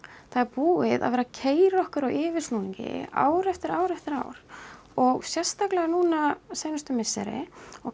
það er búið að vera að keyra okkur á yfirsnúningi ár eftir ár eftir ár og sérstaklega núna seinustu misseri og